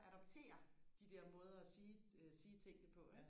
og adoptere de der måder og sige øh sige tingene på ikke